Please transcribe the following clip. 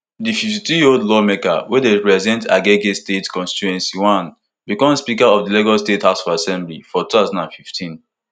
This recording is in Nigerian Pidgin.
di fifty-twoyearold lawmaker wey dey represent agege state constituency i become speaker of di lagos state house of assembly for two thousand and fifteen